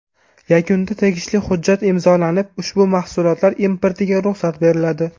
Yakunda tegishli hujjat imzolanib, ushbu mahsulotlar importiga ruxsat beriladi.